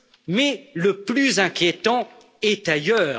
Mais le plus inquiétant est ailleurs.